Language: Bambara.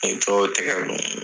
N ye tɔw tɛgɛ don.